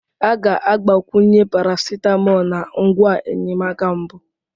A ga-agbakwunye paracetamol na ngwa enyemaka mbụ.